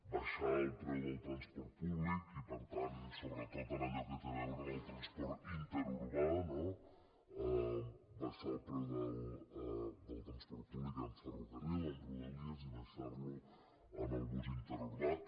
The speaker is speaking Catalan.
baixar el preu del transport públic i per tant sobretot en allò que té a veure en el transport interurbà no baixar el preu del transport públic en ferrocarril en rodalies i baixar lo en el bus interurbà